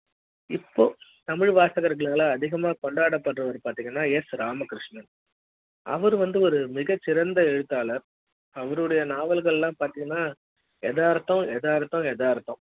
இப்போ தமிழ் வாசகர்களால் அதிகம் கொண்டாடப்படுபவர் பாத்திங்கன்னா ஏசு ராமகிருஷ்ணன் அவரு வந்து ஒரு மிகச்சிறந்த எழுத்தாளர் அவருடைய நாவல்கள் லாம் பதிங்கனா எதார்த்தம் எதார்த்தம் எதார்த்தம்